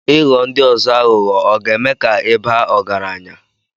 Ịghọ ndi ozo aghụghọ ọ̀ ga-eme ka ị baa ọgaranya?